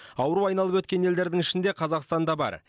ауру айналып өткен елдердің ішінде қазақстан да бар